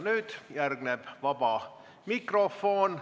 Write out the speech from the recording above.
Nüüd järgneb vaba mikrofon.